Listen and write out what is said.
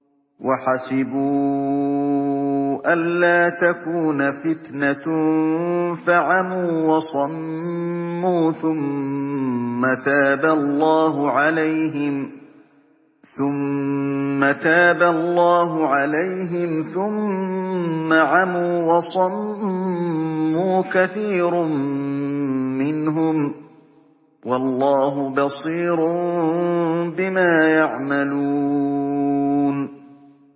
وَحَسِبُوا أَلَّا تَكُونَ فِتْنَةٌ فَعَمُوا وَصَمُّوا ثُمَّ تَابَ اللَّهُ عَلَيْهِمْ ثُمَّ عَمُوا وَصَمُّوا كَثِيرٌ مِّنْهُمْ ۚ وَاللَّهُ بَصِيرٌ بِمَا يَعْمَلُونَ